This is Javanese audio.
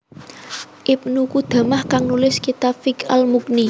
Ibnu Qudamah kang nulis kitab fiqh Al Mughni